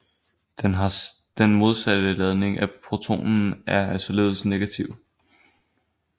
Den har den modsatte ladning af protonen og er således negativ